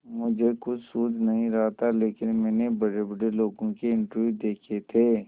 मुझे कुछ सूझ नहीं रहा था लेकिन मैंने बड़ेबड़े लोगों के इंटरव्यू देखे थे